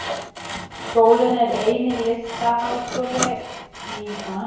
Skólinn er eini Listaháskólinn í Bandaríkjunum sem býður uppá Knattspyrnu og aðrar íþróttir.